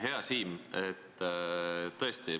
Hea Siim!